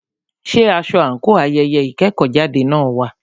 Ṣé aṣọ àńkò ayẹyẹ ìkẹ́kọ̀jáde náà wà?